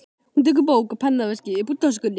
Hún tekur bók og pennaveskið upp úr töskunni.